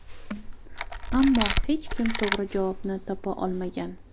Ammo hech kim to‘g‘ri javobni topa olmagan.